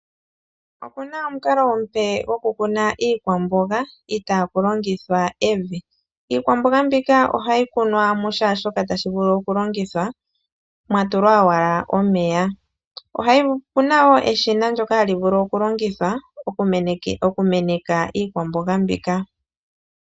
Opuna omukalo omupe goku kuna iikwamboga ita ku longithwa evi, iikwamboga mbika ohayi kunwa mu sha shoka tashi vulu oku longithwa mwa tulwa owala omeya. Opuna eshina ndyoka hali longithwa oku meneka iikwamboga mbika.